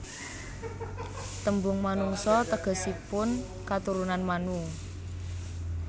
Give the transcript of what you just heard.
Tembung Manungsa tegesipun katurunan Manu